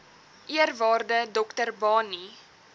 eerwaarde dr barney